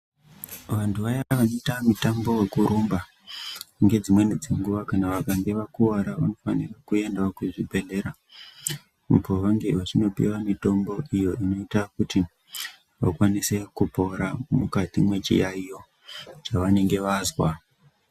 Vanthu vaya vanoite mutambo wekurumba, ngedzimweni dzenguwa kana vakange vakuwara vanofanire kuendawo kuzvibhedhlera. Uko vange vachindopuwa mitombo iyo inoita kuti vakwanise kupora mukati mwechiyaiyo chevanenge vazwa.